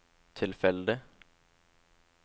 tilfeldig